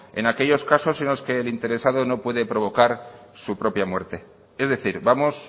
en aquellos casos en los que el interesado no puede provocar su propia muerte es decir vamos